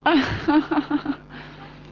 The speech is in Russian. ха-ха-ха